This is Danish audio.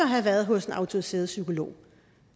have været hos en autoriseret psykolog